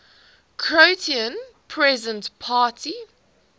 croatian peasant party